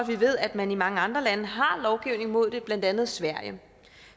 vi ved at man i mange andre lande har lovgivning imod det blandt andet sverige